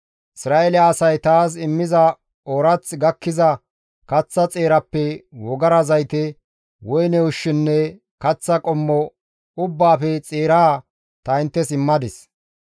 «Isra7eele asay taas immiza oorath gakkiza kaththa xeerappe wogara zayte, woyne ushshinne kaththa qommo ubbaafe xeeraa ta inttes immadis.